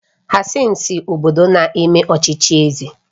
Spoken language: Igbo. Hassan si obodo na-eme ọchịchị eze